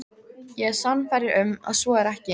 Ég er sannfærður um, að svo er ekki.